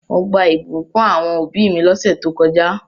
Mo gbà ìbùkún àwon òbí mi lósẹ̀ to kojá